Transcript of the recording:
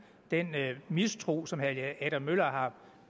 den mistro som herre helge adam møller har